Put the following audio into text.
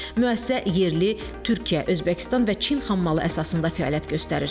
Müəssisə yerli, Türkiyə, Özbəkistan və Çin xammalı əsasında fəaliyyət göstərir.